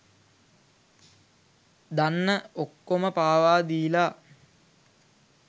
දන්න ඔක්කොම පාවා දීලා